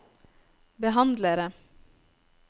behandlere